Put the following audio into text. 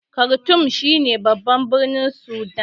Kartum shi ne babban birnin Sudan